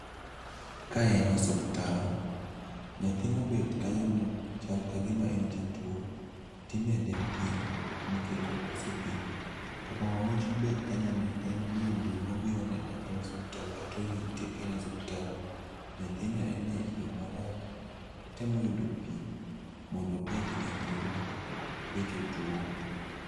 Ka en osuptal. Nyathi mobet kanyono chal kagima en jatuo, timede pi nikech okoso pi. To mama mobet kanyo ni en mine mobiro nene kaen osuptal katorite kaen e osuptal. Nyathino ene yo marach totemo yudo pi mondo obed gi ngima kech otuo.